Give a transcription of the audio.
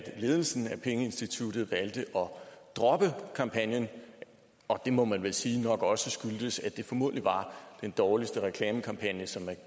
ledelsen af pengeinstituttet valgte at droppe kampagnen og det må man vel sige nok også skyldtes at det formodentlig var den dårligste reklamekampagne som er